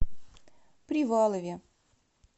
привалове